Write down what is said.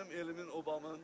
Mənim elimim, obamın,